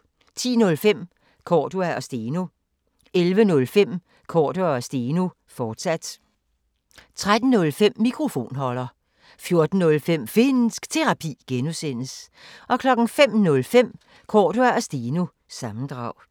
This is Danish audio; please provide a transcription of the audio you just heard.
10:05: Cordua & Steno 11:05: Cordua & Steno, fortsat 13:05: Mikrofonholder 14:05: Finnsk Terapi (G) 05:05: Cordua & Steno – sammendrag